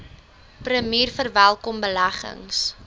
premier verwelkom beleggings